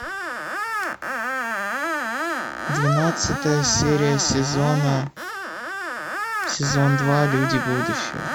двенадцатая серия сезона сезон два люди будущего